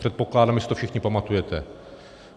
Předpokládám, že si to všichni pamatujete.